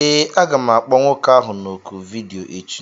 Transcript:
Ee, aga m akpọ nwoke ahụ na oku vidiyo echi